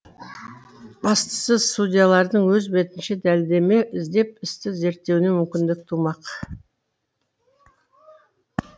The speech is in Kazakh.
бастысы судьялардың өз бетінше дәлелдеме іздеп істі зерттеуіне мүмкіндік тумақ